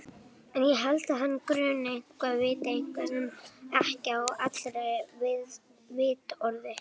En ég held að hana gruni eitthvað, viti eitthvað sem ekki er á allra vitorði.